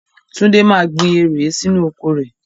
Túndé máa gbìn eèré sínú oko rẹ.